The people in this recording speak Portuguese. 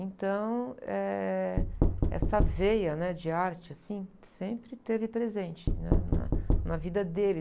Então, essa veia de arte, assim, sempre teve presente né? Na, na vida deles.